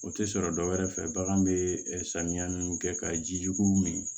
O tɛ sɔrɔ dɔwɛrɛ fɛ bagan bɛ samiya mun kɛ ka ji jugu min